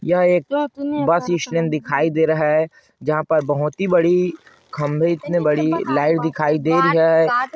यह एक bus stand दिखाई दे रहा है जहाँ पर बहोत ही बड़ी खम्बे इतने बड़ी लाइट दिखाई दे रही है।